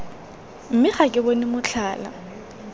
mme ga ke bone motlhala